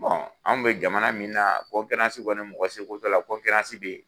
Anw bɛ jamana min na kɔni mɔgɔ se ko t'ola bɛ yen.